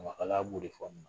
Ɲamakalaya b'o de fɔ nin na